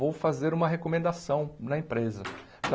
Vou fazer uma recomendação na empresa.